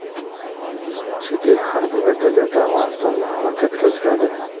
Chet el harbiy vertolyoti Afg‘onistonda halokatga uchradi.